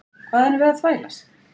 Hvað erum við að þvælast?